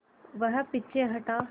वह पीछे हटा